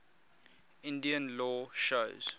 indian law shows